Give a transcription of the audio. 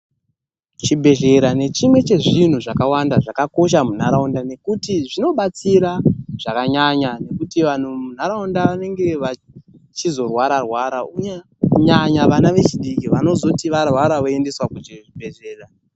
Chibhedhlera ndechimwe chezvinhu zvakawanda zvakakosha munharaunda nekuti zvinobatsira zvakanyanya kuti vantu munharaunda vanenge vachizorwara rwara kunyanya vana vechidiki vanozoti varwara voendeswa kuchibhedhlera.